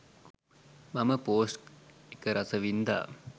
මම පෝස්ට් එක රසවින්ඳා